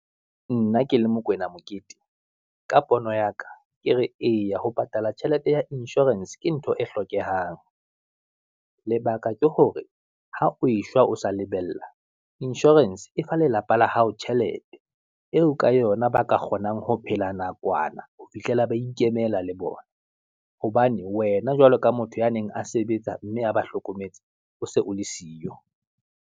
Nna ke le Mokoena Mokete, ka pono ya ka ke re eya ho patala tjhelete ya insurance ke ntho e hlokehang, lebaka ke hore ha o e shwa, o sa lebella insurance e fa lelapa la hao tjhelete, eo ka yona ba ka kgonang ho phela nakwana ho fihlela ba ikemela le bona. Hobane wena jwalo ka motho ya neng a sebetsa, mme a ba hlokometse o se o le siyo.